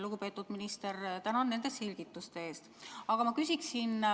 Lugupeetud minister, tänan nende selgituste eest!